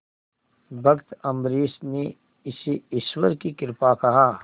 भक्त अम्बरीश ने इसे ईश्वर की कृपा कहा